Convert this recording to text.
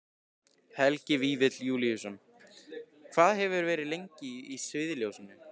Helgi Vífill Júlíusson: Hvað hefurðu verið lengi í sviðsljósinu?